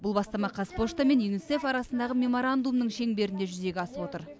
бұл бастама қазпошта мен юнисеф арасындағы меморандумның шеңберінде жүзеге асып отыр